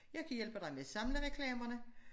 Jeg kan hjælpe dig med at samle reklamerne